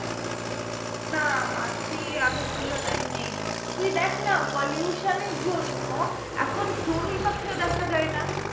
না মাছি সেই আগের তুলনায় নেই তুই দেখ না pollution এর জন্য এখন চড়ুই পাখিও দেখা যাই না